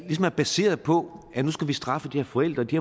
baseret på at nu skal vi straffe de her forældre de